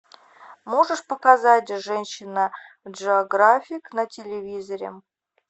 можешь показать женщина джеографик на телевизоре